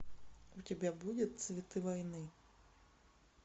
у тебя будет цветы войны